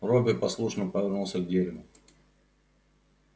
робби послушно повернулся к дереву